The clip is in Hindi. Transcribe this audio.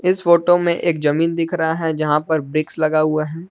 इस फोटो में एक जमीन दिख रहा है जहां पर ब्रिक्स लगा हुआ है।